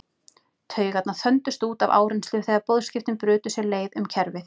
Taugarnar þöndust út af áreynslu þegar boðskiptin brutu sér leið um kerfið.